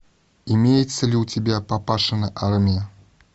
имеется ли у тебя папашина армия